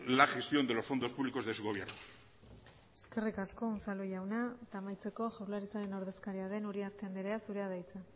la gestión de los fondos públicos de su gobierno eskerrik asko unzalu jauna eta amaitzeko jaurlaritzaren ordezkaria den uriarte anderea zurea da hitza